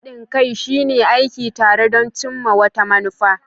Haɗin kai shine aiki tare don cimma wata manufa.